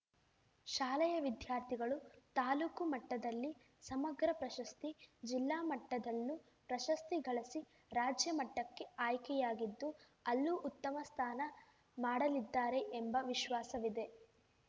ಶಾಲೆಯ ವಿದ್ಯಾರ್ಥಿಗಳು ತಾಲೂಕು ಮಟ್ಟದಲ್ಲಿ ಸಮಗ್ರ ಪ್ರಶಸ್ತಿ ಜಿಲ್ಲಾ ಮಟ್ಟದಲ್ಲೂ ಪ್ರಶಸ್ತಿ ಗಳಿಸಿ ರಾಜ್ಯ ಮಟ್ಟಕ್ಕೆ ಆಯ್ಕೆಯಾಗಿದ್ದು ಅಲ್ಲೂ ಉತ್ತಮ ಸ್ಥಾನ ಮಾಡಲಿದ್ದಾರೆ ಎಂಬ ವಿಶ್ವಾಸವಿದೆ